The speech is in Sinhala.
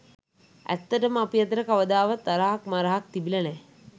ඇත්තටම අපි අතර කවදාවත් තරහක් මරහක් තිබිලා නෑ.